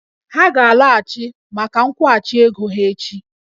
Ha ga-alọghachi maka nkwụghachi ego ha echi